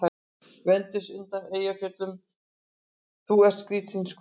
Venus undan Eyjafjöllum:- Þú ert skrýtin skrúfa.